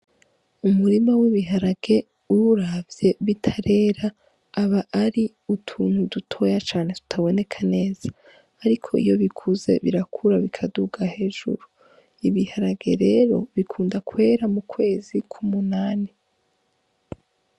Umurima w'ibiharage uwuravye bitarera, aba ari utuntu dutoya cane tutaboneka neza. Ariko iyo bikuze birakura bikaduga hejuru. Ibiharage rero bikunda kwera mukwezi kw'umunani.